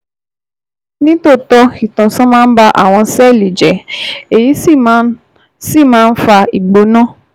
Ní tòótọ́, ìtànṣán máa ń ba àwọn sẹ́ẹ̀lì jẹ́, èyí sì máa ń sì máa ń fa ìgbóná